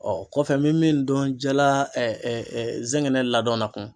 kɔfɛ n bɛ min dɔn la zɛngɛnɛ ladɔn na kun.